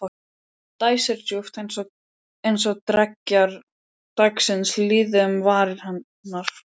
Dæsir djúpt- eins og dreggjar dagsins líði um varir hennar.